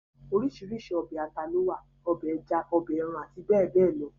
orísirísi ọbẹ̀ ata ló wà, ọbẹ̀ ẹja, ọbẹ̀ ẹran àti bẹ́ẹ̀bẹ́ẹ̀ lọ